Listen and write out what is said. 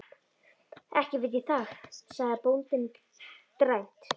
Ekki veit ég það, sagði bóndinn dræmt.